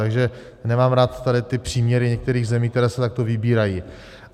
Takže nemám rád tady ty příměry některých zemí, které se takto vybírají.